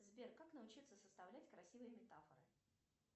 сбер как научиться составлять красивые метафоры